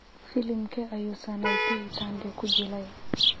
Filimkee ayuu Sanaipei Tande ku jilay?